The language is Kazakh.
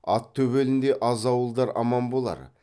ат төбеліндей аз ауылдар аман болар